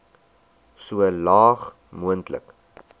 so laag moontlik